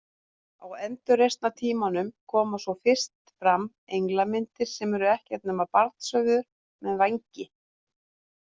Á endurreisnartímanum koma svo fyrst fram englamyndir sem eru ekkert nema barnshöfuð með vængi.